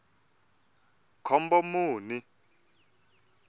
khombomuni